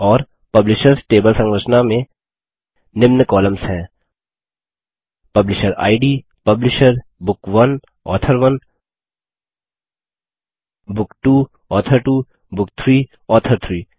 और publishers table संरचना में निम्न कॉलम्स हैं publisher id publisher book author 1 book 2 author 2 book 3 author 3